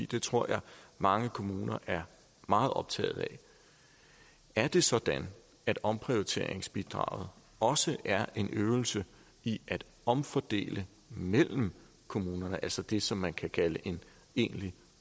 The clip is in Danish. det tror jeg at mange kommuner er meget optaget af er det sådan at omprioriteringsbidraget også er en øvelse i at omfordele mellem kommunerne altså det som man kan kalde en egentlig